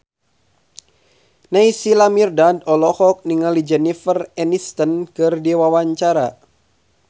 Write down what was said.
Naysila Mirdad olohok ningali Jennifer Aniston keur diwawancara